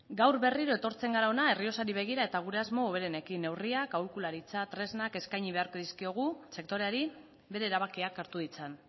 gaur berriro etortzen gara hona errioxari begira eta gure asmo hoberenekin neurriak aholkularitza eta tresnak eskaini beharko dizkiogu sektoreari bere erabakiak hartu ditzan